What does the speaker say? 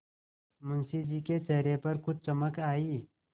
मुंशी जी के चेहरे पर कुछ चमक आई